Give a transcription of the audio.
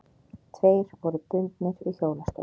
Tveir voru bundnir við hjólastól.